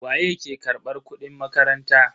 Waye ke karbar kudin makaranta?